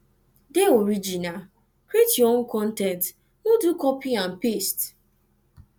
de original create your own con ten t no do copy and paste